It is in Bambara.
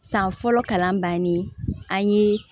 San fɔlɔ kalan bannen an ye